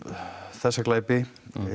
þessa glæpi